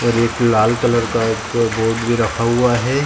और एक लाल कलर का एक बोर्ड भी रखा हुआ है।